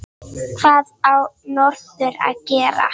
Hvað á norður að gera?